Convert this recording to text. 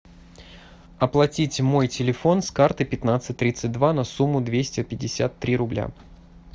оплатить мой телефон с карты пятнадцать тридцать два на сумму двести пятьдесят три рубля